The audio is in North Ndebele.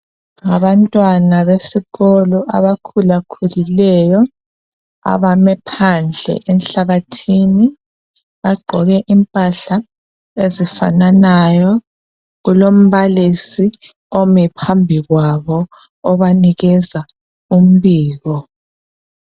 Abantwana besikolo abakhulakhulileyo abame phandle enhlabathini bagqoke impahla ezifananayo, kulombalisi omi phambi kwabo obanikeza umbiko.